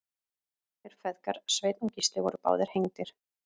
þeir feðgar sveinn og gísli voru báðir hengdir